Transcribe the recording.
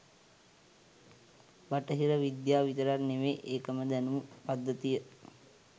බටහිර විද්‍යාව විතරක් නෙවෙයි එකම දැනුම් පද්ධතිය